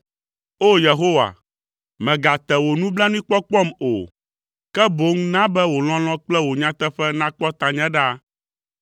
O! Yehowa, mègate wo nublanuikpɔkpɔ o, ke boŋ na be wò lɔlɔ̃ kple wò nyateƒe nakpɔ tanye ɖaa,